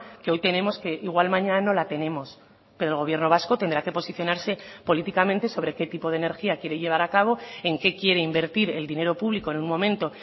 que hoy tenemos que igual mañana no la tenemos pero el gobierno vasco tendrá que posicionarse políticamente sobre qué tipo de energía quiere llevar a cabo en qué quiere invertir el dinero público en un momento